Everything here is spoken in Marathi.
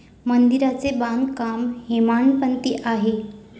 मंदिराचे बांधकाम हेमाडपंथी आहे.